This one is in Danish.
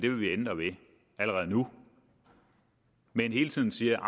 ændre ved allerede nu men hele tiden siger at